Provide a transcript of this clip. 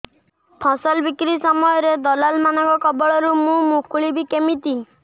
ଫସଲ ବିକ୍ରୀ ସମୟରେ ଦଲାଲ୍ ମାନଙ୍କ କବଳରୁ ମୁଁ ମୁକୁଳିଵି କେମିତି